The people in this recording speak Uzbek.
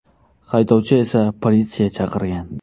Haydovchi esa politsiya chaqirgan.